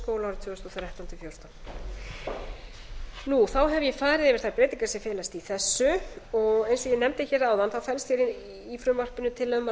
og þrettán til þúsund og fjórtán þá hef ég farið yfir þær breytingar sem felast í þessu og eins og ég nefndi hér áðan felst í frumvarpinu tillaga um að